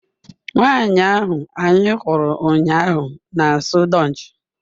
Nwanyị ahụ anyị hụrụ ụnyaahụ na-asụ Dutch